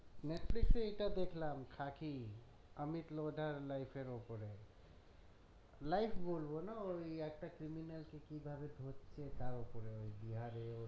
Netflix এ এইটা দেখলাম খাকি আমিত লোহডার life এর ওপরে life বলবনা ওই একটা criminal কে কি করে ধরছে তার ওপরে ওই বিহারে ওর